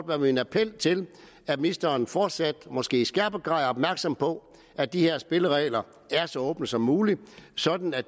være min appel til at ministeren fortsat og måske i skærpet grad er opmærksom på at de her spilleregler er så åbne som muligt sådan at